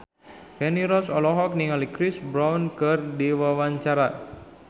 Feni Rose olohok ningali Chris Brown keur diwawancara